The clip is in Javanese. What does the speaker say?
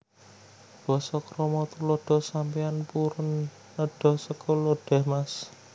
Basa KramaTuladha Sampeyan purun nedha sekul lodèh Mas